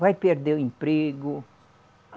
Vai perder o emprego.